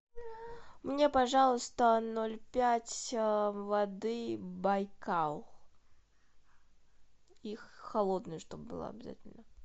мне пожалуйста ноль пять воды байкал и холодная чтоб была обязательно